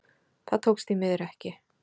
Það tókst því miður ekki